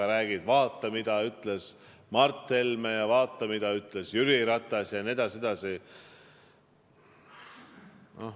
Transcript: Sa räägid, et vaata, mida ütles Mart Helme, ja vaata, mida ütles Jüri Ratas jne.